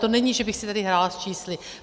To není, že bych si tady hrála s čísly.